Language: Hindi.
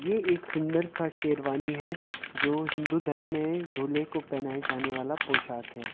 ये एक सुंदर सा शेरवानी है जो हिन्दू धर्म में दूल्हे को पहनाया जाने वाला पोशाक है।